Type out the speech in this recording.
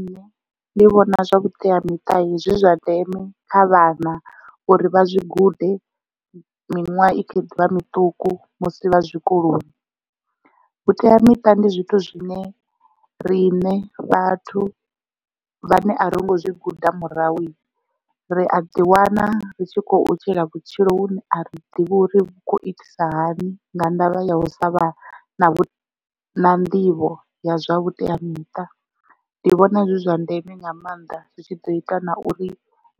Nṋe ndi vhona zwa vhuteamiṱa zwi zwa ndeme kha vhana uri vha zwi gude miṅwaha i kho ḓivha miṱuku musi vha zwikoloni vhuteamiṱa ndi zwithu zwine riṋe vhathu vhane a ringo zwi guda murahu ri a ḓi wana ri tshi khou tshila vhutshilo vhune a ri ḓivhi uri vhu khou itisa hani nga ndavha ya u sa vha na nḓivho ya zwa vhuteamiṱa ndi vhona zwi zwa ndeme nga maanḓa zwi tshi ḓo ita na uri